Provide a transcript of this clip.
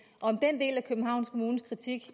om den del af københavns kommunes kritik